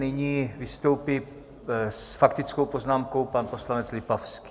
Nyní vystoupí s faktickou poznámkou pan poslanec Lipavský.